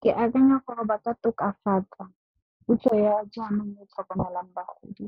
Ke akanya gore ba ka tokafatsa puso ya jaanong mo go tlhokomelang bagodi.